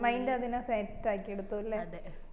mind അതിനാ set ആക്കി എടുത്തു അല്ലെ